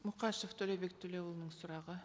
мұқашев төлеубек төлеуұлының сұрағы